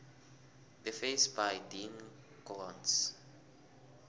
the face by dean koontz